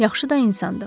Yaxşı da insandır.